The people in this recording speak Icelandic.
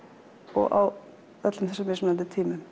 og á öllum þessum mismunandi tímum